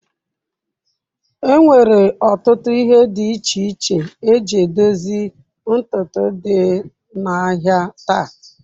Enwere ọtụtụ ihe dị iche iche eji edozi ntutu dị n'ahịa taa.